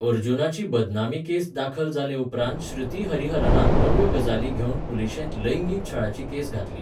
अर्जुनाची बदनामी केस दाखल जाले उपरांत श्रुती हरिहरनान नव्यो गजाली घेवन पुलिशेंत लैंगीक छळाची केस घातली.